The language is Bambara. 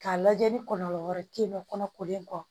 K'a lajɛ ni kɔlɔlɔ wɛrɛ te yen nɔ kɔnɔkolen kɔ